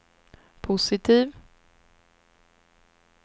positiv